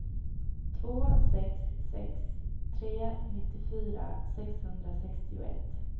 två sex sex tre nittiofyra sexhundrasextioett